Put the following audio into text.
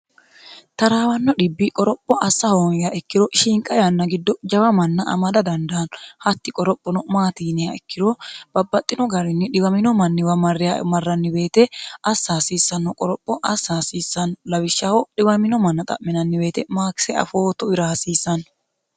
taraawanno dhibbi qoropho assa hoonyaa ikkiro shiinqa yanna giddo jawa manna amada dandaanno hatti qorophono maatiiniha ikkiro babbaxxino garinni dhiwamino manniwa marre marranni beete assa hasiissanno qoropho assa hasiissanno lawishshaho dhiwamino manna xa'minannibeete maakise afooto wira hasiissanno